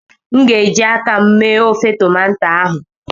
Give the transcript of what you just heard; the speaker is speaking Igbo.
m ga- eji aka m mee ofe tomato ahụ